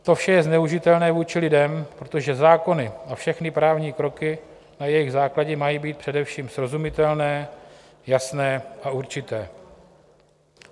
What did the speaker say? To vše je zneužitelné vůči lidem, protože zákony a všechny právní kroky na jejich základě mají být především srozumitelné, jasné a určité.